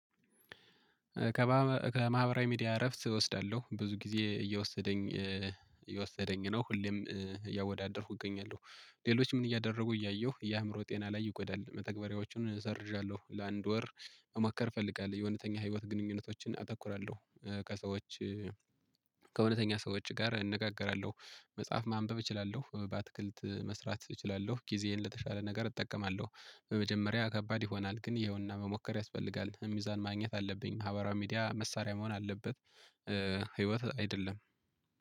ከማህበራዊ ሚዲያ እረፍት እወስዳለሁ ብዙ ጊዜ እየወሰደኝ እየወሰደኝ ነው። ሁሌም እያወዳደርኩ እገኛለሁ ሌሎች ምን እያደረጉ እያየሁ የአእምሮ ጤና ላይ ይቆዳል መተግበሪያዎቹን ሰርዣለሁ። ለአንድ ወር መማከር እፈልጋለሁ የእውነተኛ ህይወት ግንኙነቶችን አተኩራለሁ። ከሰዎች ሰዎች ውጪ ጋር እነጋገራለሁ። መጽሐፍ ማንበብ እችላለሁ በአትክልት መስራት እችላለሁ። ጊዜዬን ለተሻለ ነገር እጠቀማለሁ። በመጀመሪያ ከባድ ይሆናል ግን ይኸውና መሞከር ያስፈልጋል ሚዛን ማግኘት አለብኝ። ማህበራዊ ሚዲያ መሳሪያ መሆን አለበት። ህይወት አይደለም።